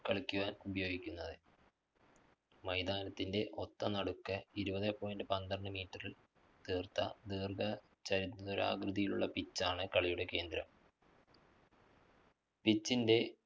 കളിയ്ക്ക് ഉപയോഗിക്കുന്നത്. മൈതാനത്തിന്റെ ഒത്തനടുക്ക് ഇരുപതേ point പന്ത്രണ്ട് meter ല്‍ തീര്‍ത്ത ദീര്‍ഘ ചതുരാകൃതിയിലുള്ള pitch ആണ് കളിയുടെ കേന്ദ്രം. pitch ന്റെ